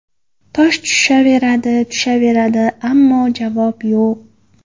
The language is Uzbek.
Tosh tushaveradi, tushaveradi… Ammo javob yo‘q”.